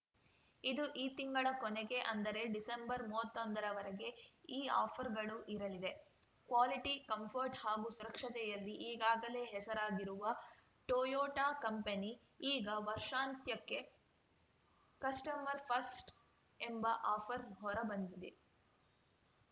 ಇದು ಈ ತಿಂಗಳ ಕೊನೆಗೆ ಅಂದರೆ ಡಿಸೆಂಬರ್‌ ಮೂವತ್ತೊಂದರ ವರೆಗೆ ಈ ಆಫರ್‌ಗಳು ಇರಲಿದೆ ಕ್ವಾಲಿಟಿ ಕಂಫರ್ಟ್‌ ಹಾಗೂ ಸುರಕ್ಷತೆಯಲ್ಲಿ ಈಗಾಗಲೇ ಹೆಸರಾಗಿರುವ ಟೊಯೊಟಾ ಕಂಪನಿ ಈಗ ವರ್ಷಾಂತ್ಯಕ್ಕೆ ಕಸ್ಟಮರ್‌ ಫಸ್ಟ್‌ ಎಂಬ ಆಫರ್‌ ಹೊರ ಬಂದಿದೆ